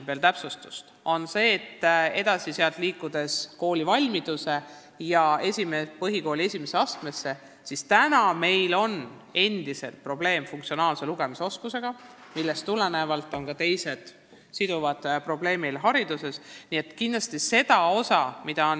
Mis puutub koolivalmidusse ja põhikooli esimesse astmesse, siis täna meil on endiselt probleeme funktsionaalse lugemisoskusega, millest tulenevad ka teised probleemid koolis.